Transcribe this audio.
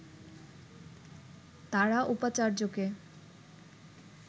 তারা উপাচার্যকে